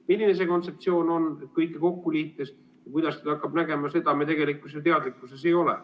Milline see kontseptsioon on, kõike kokku liites, ja kuidas ta hakkab välja nägema, sellest me tegelikult ju teadlikud ei ole.